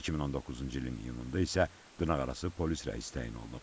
2019-cu ilin iyununda isə dırnaqarası polis rəisi təyin olunub.